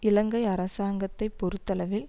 இலங்கை அரசாங்கத்தை பொறுத்தளவில்